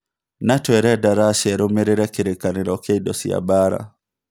NATO ĩrenda Russia ĩrũmĩrĩre kĩrĩkanĩro kĩa indo cia mbaara